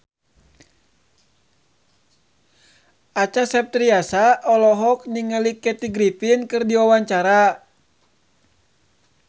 Acha Septriasa olohok ningali Kathy Griffin keur diwawancara